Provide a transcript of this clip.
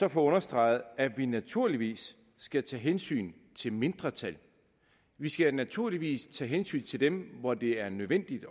at få understreget at vi naturligvis skal tage hensyn til mindretal vi skal naturligvis tage hensyn til dem hvor det er nødvendigt